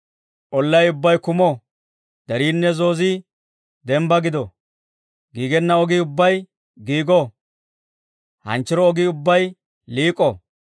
Ollay ubbay kumo; deriinne zoozii denbbaa gido, giigenna ogii ubbay giigo, hanchchiro ogii ubbay liik'o.